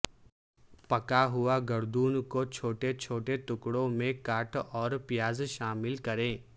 پکا ہوا گردوں کو چھوٹے چھوٹے ٹکڑوں میں کاٹ اور پیاز شامل کریں